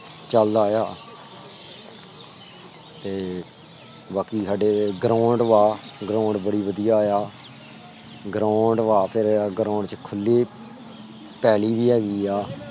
ਚਲਦਾ ਆ ਤੇ ਬਾਕੀ ਸਾਡੇ ground ਬਾ ground ਬੜੀ ਬਦਿਆ ਆ ground ਚ ਖੁਲੀ ਪੈਲੀ ਵੀ ਹੇਗੀ ਆ ।